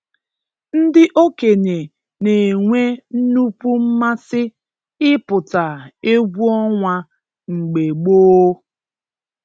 Ndị okenye na-enwe nnukwu mmasị ị pụta egwu ọnwa mgbe gboo.